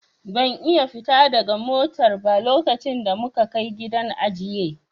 Ban iya fita daga motar ba lokacin da muka Kai gidan ajiye.